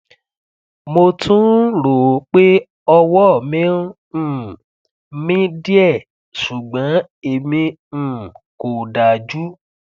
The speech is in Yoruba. mo tún ń ròó pé ọwọ mi ń um mì díẹ ṣùgbọn èmi um kò dájú um